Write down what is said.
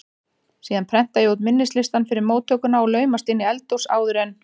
Síðan prenta ég út minnislistann fyrir móttökuna og laumast inn í eldhús áður en